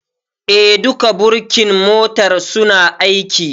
Eh, duka birkin motar suna aiki